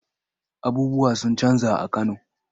Abubuwa sun canja a Kano.